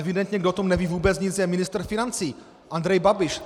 Evidentně, kdo o tom neví vůbec nic, je ministr financí Andrej Babiš.